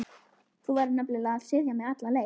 Þú verður nefnilega að styðja mig alla leið.